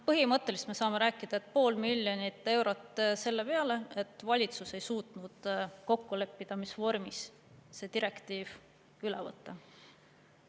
Põhimõtteliselt me saame rääkida, et pool miljonit eurot selle peale, et valitsus ei suutnud kokku leppida, mis vormis see direktiiv üle võtta.